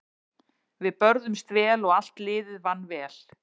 Við börðumst vel og allt liðið vann vel.